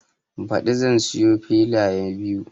Baɗi zan siya filaye biyu